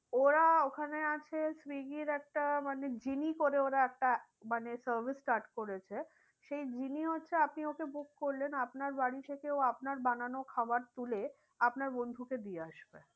ওরা ওখানে আছে সুইগীর একটা মানে করে ওরা একটা মানে service start করেছে। সেই হচ্ছে আপনি ওকে book করলেন। আপনার বাড়ি থেকে ও আপনার বানানো খাবার তুলে আপনার বন্ধুকে দিয়ে আসবে।